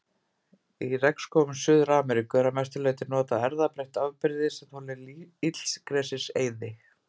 Í regnskógum Suður-Ameríku er að mestu notað erfðabreytt afbrigði sem þolir illgresiseyði.